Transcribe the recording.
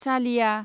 चालिया